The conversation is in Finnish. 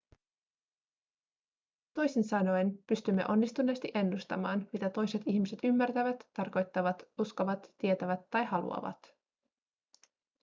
toisin sanoen pystymme onnistuneesti ennustamaan mitä toiset ihmiset ymmärtävät tarkoittavat uskovat tietävät tai haluavat